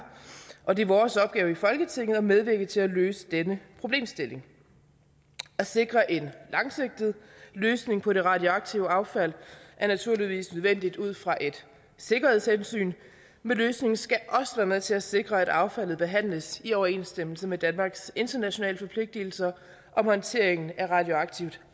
og det er vores opgave i folketinget at medvirke til at løse denne problemstilling at sikre en langsigtet løsning på det radioaktive affald er naturligvis nødvendigt ud fra et sikkerhedshensyn men løsningen skal også være med til at sikre at affaldet behandles i overensstemmelse med danmarks internationale forpligtelser om håndteringen af radioaktivt